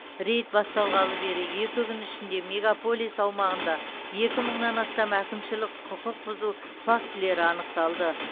рейд басталғалы бергі екі күн ішінде мегаполис аумағында екі мыңнан астам әкімшілік құқық бұзу фактілері анықталды